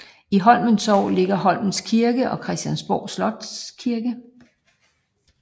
I Holmens Sogn ligger Holmens Kirke og Christiansborg Slotskirke